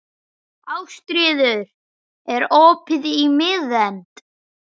Ástríður, er opið í Miðeind?